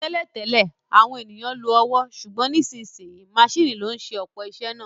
Tẹ́lẹ̀ tẹ́lẹ̀, àwọn ènìyàn lo ọwọ́, ṣùgbọ́n nísinsìnyí maṣíìnì ló ń ṣe ọ̀pọ̀ iṣẹ́ náà